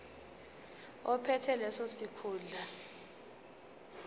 ophethe leso sikhundla